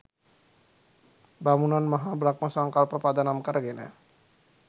බමුණන් මහා බ්‍රහ්ම සංකල්ප පදනම් කරගෙන